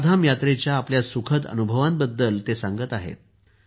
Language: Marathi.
चारधाम यात्रेच्या आपल्या सुखद अनुभवांबद्दल ते सांगत आहेत